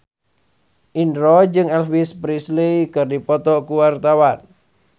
Indro jeung Elvis Presley keur dipoto ku wartawan